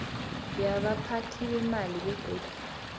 yabaphathi beemali begodu